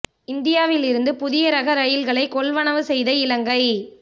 இந்தியாவில் இருந்து புதியரக ரயில்களை கொள்வனவு செய்த இலங்கை